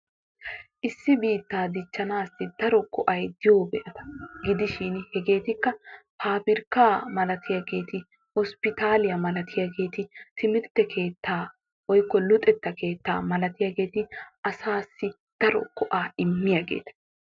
Issi biittaa dichchanaassi daro go'ay diyo keetata etikka papirkkaa malatiyageeti hotaaliya malatiyageeti timirtte keettaa woykko luxetta keettaa malatiyageeti hegeeti asaassi daro go'aa immiyaageeta.